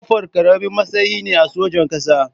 Kofural ƙaramin matsayi ne a sojan ƙasa.